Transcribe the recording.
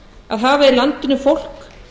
að hafa í landinu fólk